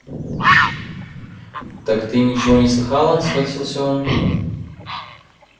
так ты ничего не слыхала схватился он